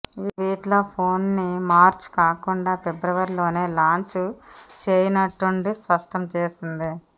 ఆ ట్వీట్ లో ఫోన్ ని మార్చ్ కాకుండా ఫిబ్రవరిలోనే లాంచ్ చేయనున్నట్టు స్పష్టం చేసింది